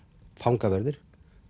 fangaverðir